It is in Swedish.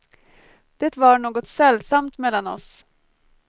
Det var något sällsamt mellan oss.